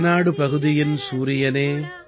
ரேனாடு பகுதியின் சூரியனே